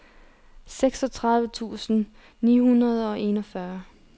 seksogtredive tusind ni hundrede og enogfyrre